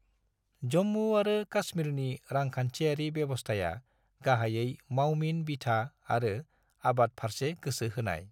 जम्मू आरो काश्मीरनि रांखान्थियारि बेबस्थाया गाहायै मावमिन-बिथा आरो आबाद-फारसे गोसो होनाय।